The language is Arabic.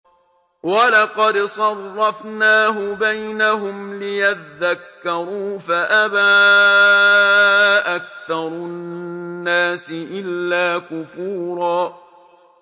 وَلَقَدْ صَرَّفْنَاهُ بَيْنَهُمْ لِيَذَّكَّرُوا فَأَبَىٰ أَكْثَرُ النَّاسِ إِلَّا كُفُورًا